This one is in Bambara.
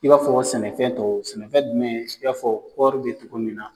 I b'a fɔ sɛnɛfɛntɔw sɛnɛfɛn jumɛn i b'a fɔ kɔɔri bɛ cogo min na.